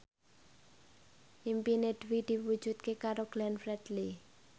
impine Dwi diwujudke karo Glenn Fredly